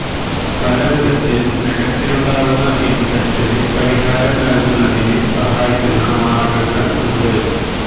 പല വിധത്തില് നഖത്തിലുണ്ടാവുന്ന ഇന്ഫെക്ഷന് പരിഹാരം നല്കുന്നതിന് സഹായിക്കുന്ന മാര്ഗ്ഗങ്ങള് ഉണ്ട്